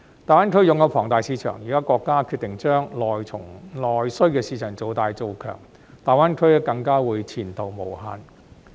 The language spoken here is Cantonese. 大灣區擁有龐大市場，現在國家決定將內需市場做大、做強，大灣區更加會前途無限。